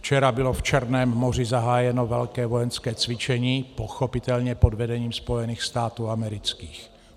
Včera bylo v Černém moři zahájeno velké vojenské cvičení, pochopitelně pod vedením Spojených států amerických.